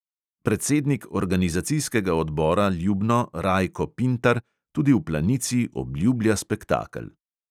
Predsednik organizacijskega odbora ljubno rajko pintar tudi v planici obljublja spektakel.